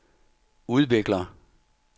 udvikler